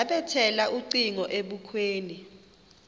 yabethela ucingo ebukhweni